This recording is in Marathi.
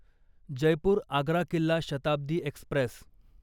जयपूर आग्रा किल्ला शताब्दी एक्स्प्रेस